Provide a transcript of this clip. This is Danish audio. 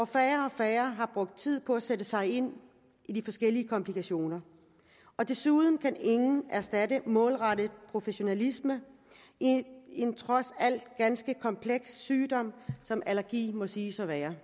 færre og færre har brugt tid på at sætte sig ind i de forskellige komplikationer desuden kan intet erstatte målrettet professionalisme i en trods alt ganske kompleks sygdom som allergi må siges at være